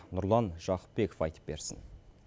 нұрлан жақыпбеков айтып берсін